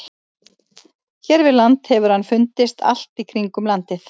Hér við land hefur hann fundist allt í kringum landið.